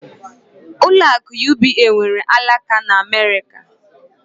Ụlọ akụ UBA nwere alaka n'Amerika